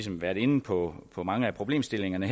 været inde på på mange af problemstillingerne i